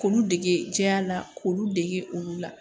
K'olu dege jɛya la k'olu dege olu la